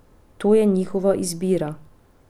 To je njihova izbira!